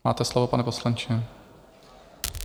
Máte slovo, pane poslanče.